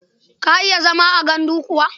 Ka iya zama a gandu kuwa?